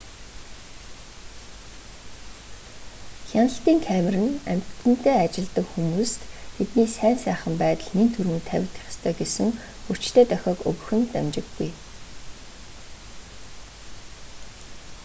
хяналтын камер нь амьтантай ажилладаг хүмүүст тэдний сайн сайхан байдал нэн тэргүүнд тавигдах ёстой гэсэн хүчтэй дохиог өгөх нь дамжиггүй